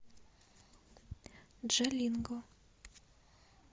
джалинго